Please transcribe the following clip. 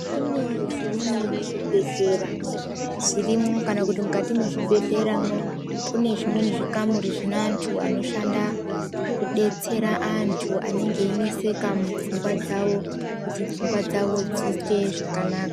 Kune zvimweni zvibhedhlera zvirimo kana kuti mukati mezvibhedhlera kune zvimweni zvikamuri Vine antu anoshanda kudetsera antu anenge einesekauofungwa dzawo kuti pfungwa dzawo dziite zvakanaka.